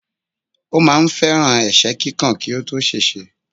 Ó máà ń fẹ́ràn ẹ̀sẹ́ kíkàn kí ó tó ṣèṣe.